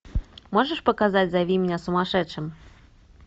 можешь показать зови меня сумасшедшим